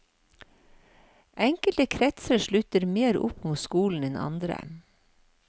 Enkelte kretser sluttet mer opp om skolen enn andre.